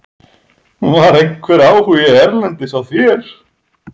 Var einhver áhugi erlendis á þér?